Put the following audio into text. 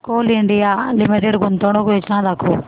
Coal India limited गुंतवणूक योजना दाखव